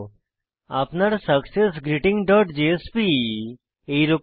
আপনার successgreetingজেএসপি এরকম হবে